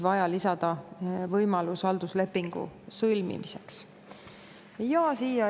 Vaja on ka lisada võimalus halduslepingu sõlmimiseks.